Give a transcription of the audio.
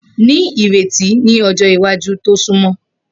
Ni ireti ni ọjọ iwaju to sunmọ